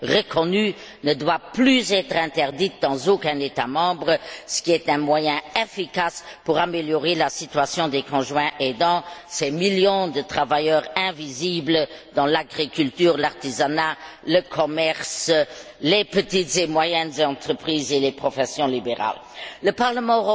reconnus ne doit plus être interdite dans aucun État membre, ce qui est un moyen efficace pour améliorer la situation des conjoints aidants, ces millions de travailleurs invisibles employés dans l'agriculture, l'artisanat, le commerce, les petites et moyennes entreprises et les professions libérales. Le Parlement